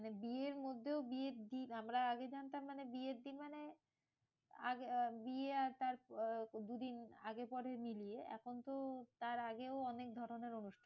মানে বিয়ের মধ্যেও বিয়ের দিন আমরা আগে জানতাম মানে বিয়ের দিন মানে আর বিয়ে আর তার দুদিন আগে পরে মিলিয়ে। এখন তো তার আগেও অনেক ধরণের অনুষ্ঠান।